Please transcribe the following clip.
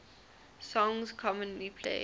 songs commonly played